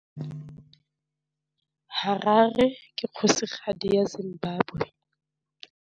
Harare ke kgosigadi ya Zimbabwe.